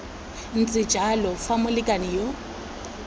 ntse jalo fa molekane yo